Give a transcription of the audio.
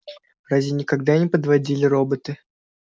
разве никогда не подводили роботы